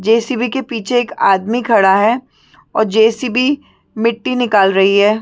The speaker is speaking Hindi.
जे_ सी_ बी के पीछे एक आदमी खड़ा है और जे_ सी_ बी मिट्टी निकाल रही है।